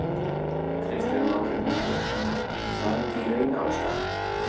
Kristinn Már Unnarsson: Er það ekki í raun ástæðan?